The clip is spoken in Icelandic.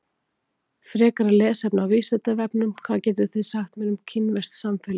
Frekara lesefni á Vísindavefnum: Hvað getið þið sagt mér um kínverskt samfélag?